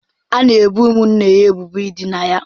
A na-ebo ụmụnne ha ebubo idina ha.